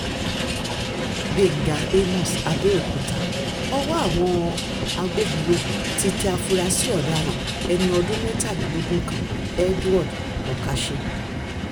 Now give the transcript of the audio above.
gbẹ̀ngà àmos abéòkúta ọwọ́ àwọn agbófinró ti tẹ àfúrásì ọ̀daràn ẹni ọdún mẹ́tàlélógún kan edward okache